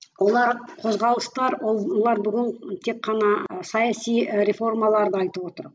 олар қозғалыстар олар бүгін тек қана саяси реформаларды айтып отыр